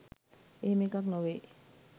එහෙම එකක්‌ නොවෙයි.